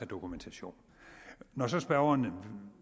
dokumentation når så spørgeren